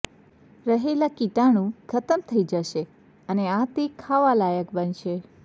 રહેલા કીટાણુ ખતમ થઈ જશે અને આ તે ખાવા લાયક બનશે